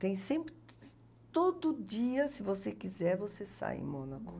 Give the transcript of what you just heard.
Tem sempre... Todo dia, se você quiser, você sai em Mônaco.